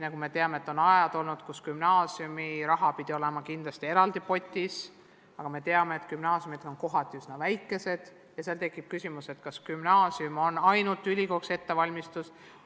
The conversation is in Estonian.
Nagu me teame, on olnud ajad, kus gümnaasiumide raha pidi olema kindlasti eraldi real, aga me teame, et gümnaasiumid on mõnes kohas üsna väikesed ja seal tekib küsimus, kas gümnaasium on ainult ülikooliks ettevalmistus.